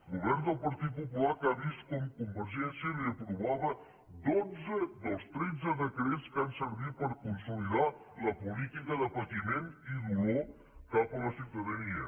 govern del partit popular que ha vist com convergència li aprovava dotze dels tretze decrets que han servit per consolidar la política de patiment i dolor cap a la ciutadania